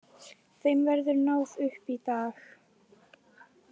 Þeim verður náð upp í dag